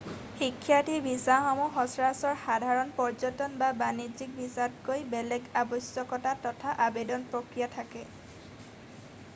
শিক্ষাৰ্থী ভিছাসমূহৰ সচৰাচৰ সাধাৰণ পৰ্যটন বা বাণিজ্যিক ভিছাতকৈ বেলেগ আৱশ্যকতা তথা আবেদন প্ৰক্ৰিয়া থাকে